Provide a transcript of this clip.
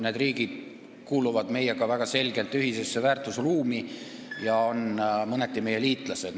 Need riigid kuuluvad meiega väga selgelt ühisesse väärtusruumi ja on mõneti meie liitlased.